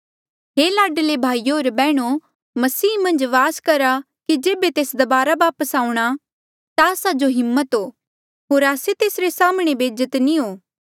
हे लाडले भाईयो होर बैहणो मसीह मन्झ वास करहा कि जेबे तेस दबारा वापस आऊंणा ता आस्सा जो हिम्मत हो होर आस्से तेसरे साम्हणें बेजत नी हो